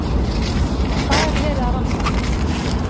En hvað er verið að rannsaka?